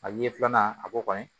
A ye filanan a b'o kɔni